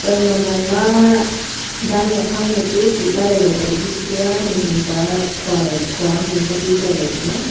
wan mong ma dan ka phang ma chu hing hing ka khua lai lai ka.